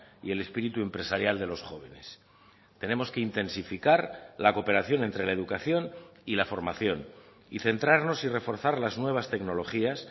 y el espíritu empresarial de los jóvenes tenemos que intensificar la cooperación entre la educación y la formación y centrarnos y reforzar las nuevas tecnologías